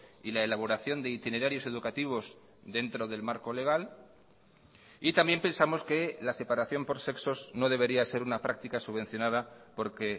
y la elaboración de itinerarios educativos dentro del marco legal y también pensamos que la separación por sexos no debería ser una práctica subvencionada porque